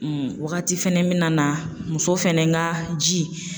wagati fɛnɛ me nana muso fɛnɛ ka ji